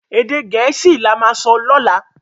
Èdè Gẹ̀ẹ́sì là má sọ lọla.